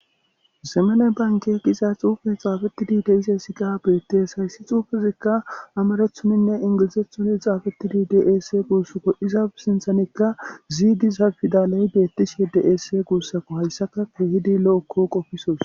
zemene banke giza xuufe xaafetidi deise siqa beetties hayssi xuufezikka amarethoninne ingilizethuni xaafetidi desse guussakko izaafe sinthanekka ziidiza fidaley beettishe deese guussako hayssaka kehidi lo7ekko qofisos